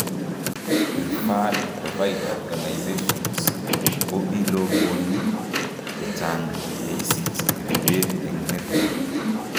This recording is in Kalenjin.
Prefferred provider organisations ko iluboni chechang' yeisich ribeet eng' network